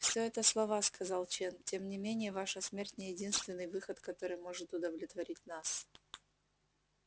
все это слова сказал чен тем не менее ваша смерть не единственный выход который может удовлетворить нас